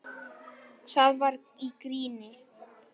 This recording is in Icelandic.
Það var í gríni.